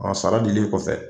A sara dilen kɔfɛ.